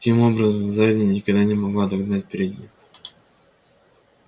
таким образом задняя никогда не могла догнать переднюю